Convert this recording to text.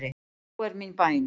Sú er mín bæn.